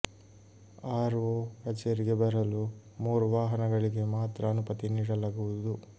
R O ಕಚೇರಿಗೆ ಬರಲು ಮೂರು ವಾಹನಗಳಿಗೆ ಮಾತ್ರ ಅನುಮತಿ ನೀಡಲಾಗುವುದು